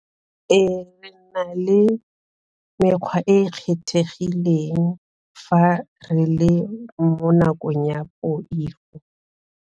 Re na le mekgwa e e kgethegileng fa re le mo nakong ya poifo.